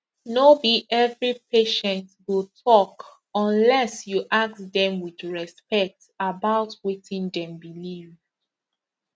no be every patient go talk unless you ask dem with respect about wetin dem believe